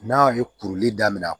N'a ye kuruli daminɛ